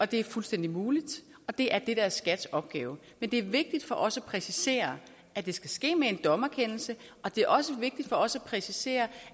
det er fuldstændig muligt og det er det der er skats opgave men det er vigtigt for os at præcisere at det skal ske med en dommerkendelse og det er også vigtigt for os at præcisere